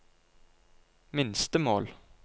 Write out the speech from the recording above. minstemål